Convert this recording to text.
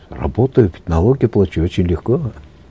работаю налоги плачу очень легко